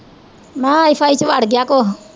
ਮੈਂ ਕਿਹਾ ਆਈ ਫਾਈ ਚ ਵੜ ਗਿਆ ਕੁਛ